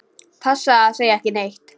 Passaðu að segja ekki neitt.